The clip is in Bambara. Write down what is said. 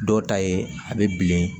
Dɔw ta ye a bɛ bilen